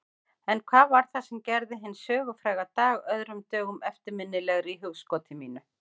En hvað var það sem gerði hinn sögufræga dag öðrum dögum eftirminnilegri í hugskoti mínu?